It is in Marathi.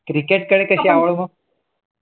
Cricket कडे कसा